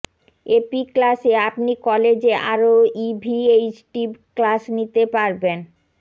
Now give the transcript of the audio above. AP ক্লাসে আপনি কলেজে আরও ইভিএইচটিভ ক্লাস নিতে পারবেন